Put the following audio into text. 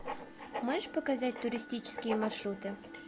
можешь показать туристические маршруты